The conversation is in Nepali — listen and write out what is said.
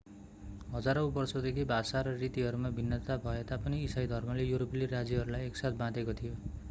हजारौं वर्षदेखि भाषा र रीतिहरूमा भिन्नता भएतापनि इसाई धर्मले युरोपेली राज्यहरूलाई एकसाथ बाँधेको थियो